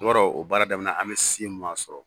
i b'a dɔn o baara daminɛ an bɛ sɔrɔ